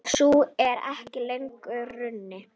Sú er ekki lengur raunin.